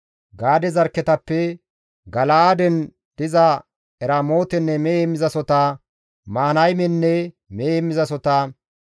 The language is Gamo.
Gaade zarkketappe Gala7aaden diza Eramootenne mehe heemmizasohota, Mahanaymenne mehe heemmizasohota,